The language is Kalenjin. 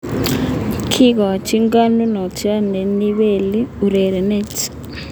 Kikochin konunot ne o neibeli ureryonotok